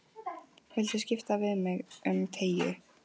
Viltu skipta við mig um treyju?